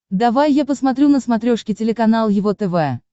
давай я посмотрю на смотрешке телеканал его тв